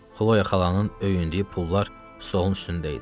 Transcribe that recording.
Xloya xalanın öyündüyü pullar stolun üstündə idi.